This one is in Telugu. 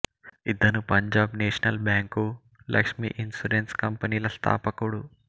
ఇతను Punjab National Bank Lakshmi Insurance కంపెనీల స్థాపకుడు